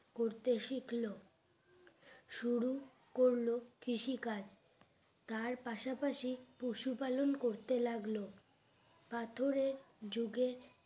করতে শিখলো শুরু করলো কৃষি কাজ তার পাশাপাশি পশু পালন করতে লাগলো পাথরের যুগে